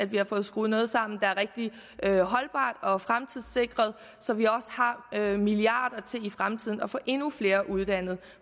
vi har fået skruet noget sammen der er rigtig holdbart og fremtidssikret så vi også har milliarder til i fremtiden at få endnu flere uddannet